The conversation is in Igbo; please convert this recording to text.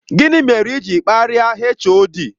Gini mere i jiri karịa HOD?